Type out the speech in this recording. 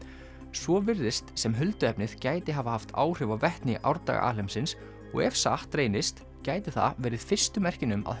svo virðist sem gæti hafa haft áhrif á vetni í árdaga alheimsins og ef satt reynist gætu það verið fyrstu merkin um að